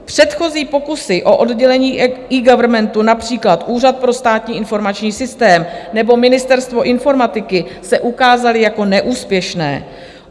Předchozí pokusy o oddělení eGovernmentu - například Úřad pro státní informační systém nebo Ministerstvo informatiky - se ukázaly jako neúspěšné.